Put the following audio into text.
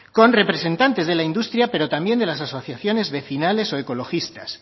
con representantes de la industria pero también de las asociaciones vecinales o ecologistas